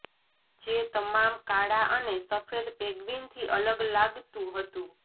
જે તમામ કાળા અને સફેદ પેગ્વિનથી અલગ લાગતુ હતુ